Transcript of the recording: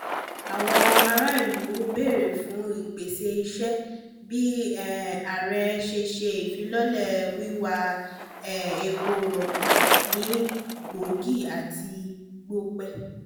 àwọn ará ìlú béèrè fún ìpèsè iṣẹ́ bí um ààrẹ ṣe ṣe ìfilọ́lẹ̀ wíwá um epo rọ̀bì ní bọ́ọ̀gì àti gọ̀bẹ